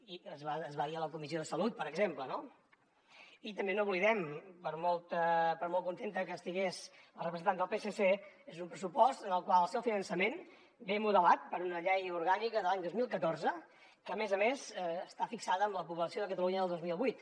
i es va es va dir a la comissió de salut per exemple no i també no ho oblidem per molt contenta que estigués la representant del psc és un pressupost en el qual el seu finançament ve modelat per una llei orgànica de l’any dos mil catorze que a més a més està fixada amb la població de catalunya del dos mil vuit